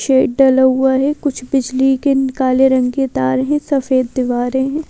Shade डला हुआ है कुछ बिजली के काले रंग के तार हैं सफेद दीवारें हैं।